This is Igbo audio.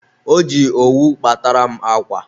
o ji owu kpatara m akwa.